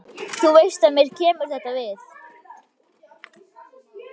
Þú veist að mér kemur þetta við.